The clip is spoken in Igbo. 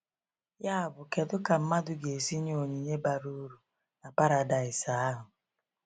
Yabụ, kedu ka mmadụ ga-esi nye onyinye bara uru na paradaịs ahụ?